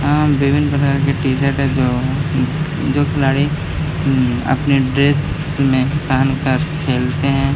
अ विभिन्न प्रकार के टी-शर्ट है जो खिलाड़ी अपने ड्रेस में पेहेन कर खेलते है।